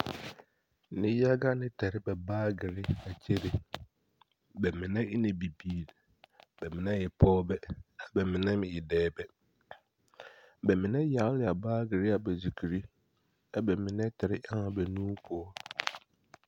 Neŋyaga na ta aba baagere a kyere. Ba mine e ne bibiiri, bԑ mine e pͻͻbԑ a bԑ mine meŋ e dͻͻbԑ. ba mine yaale yaale la a baagere ba zukuri ԑ bԑ mine tare eŋ ba nuuri poͻ.